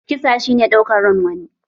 Kisa shi ne ɗaukar ran wani